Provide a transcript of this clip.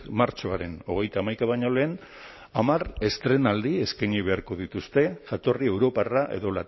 martxoaren hogeita hamaika baino lehen hamar estreinaldi eskaini beharko dituzte jatorri europarra edo